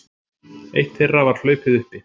Eitt þeirra var hlaupið uppi